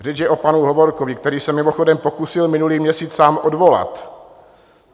Řeč je o panu Hovorkovi, který se mimochodem pokusil minulý měsíc sám odvolat.